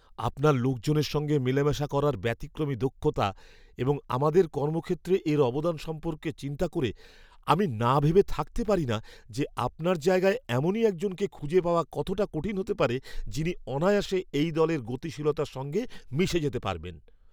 আপনার লোকজনের সঙ্গে মেলামেশা করার ব্যতিক্রমী দক্ষতা এবং আমাদের কর্মক্ষেত্রে এর অবদান সম্পর্কে চিন্তা করে, আমি না ভেবে থাকতে পারি না যে আপনার জায়গায় এমনই একজনকে খুঁজে পাওয়া কতটা কঠিন হতে পারে যিনি অনায়াসে এই দলের গতিশীলতার সঙ্গে মিশে যেতে পারবেন।